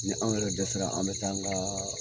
Ni anw yɛrɛ dɛsɛra, an mɛ taa an ga